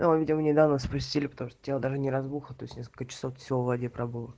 а видимо недавно спустили потому что тело даже не разбухло то есть несколько часов всего в воде пробыло